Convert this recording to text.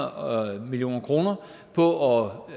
og får